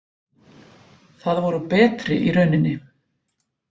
Það voru betri í rauninni.